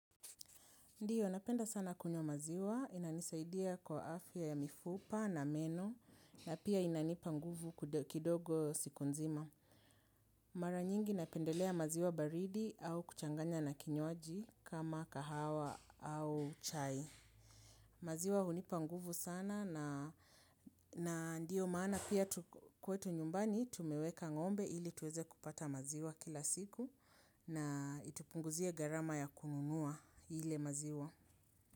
Ndiyo napenda sana kunywa maziwa, inanisaidia kwa afya ya mifupa na meno na pia inanipa nguvu kidogo siku nzima. Mara nyingi napendelea maziwa baridi au kuchanganya na kinywaji kama kahawa au chai. Maziwa hunipa nguvu sana na ndiyo maana pia kwetu nyumbani tumeweka ngombe ili tuweze kupata maziwa kila siku na itupunguzia garama ya kununua ile maziwa.